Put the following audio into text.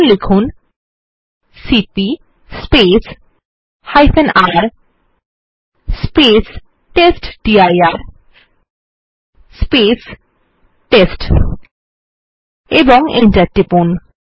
এখন লিখুন cp রের টেস্টডির টেস্ট ও Enter টিপুন